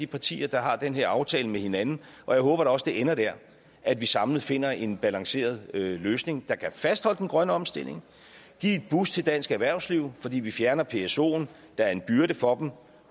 partier der har den her aftale med hinanden jeg håber da også at det ender der at vi samlet finder en balanceret løsning der kan fastholde den grønne omstilling give et boost til dansk erhvervsliv fordi vi fjerner psoen der er en byrde for dem